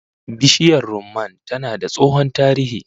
Bishiyar rumman tana da tsohon tarihi